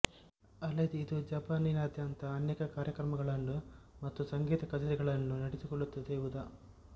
ಅಲ್ಲದೆ ಇದು ಜಪಾನಿನಾದ್ಯಂತ ಅನೇಕ ಕಾರ್ಯಕ್ರಮಗಳನ್ನು ಮತ್ತು ಸಂಗೀತ ಕಛೇರಿಗಳನ್ನು ನಡೆಸಿಕೊಡುತ್ತದೆ ಉದಾ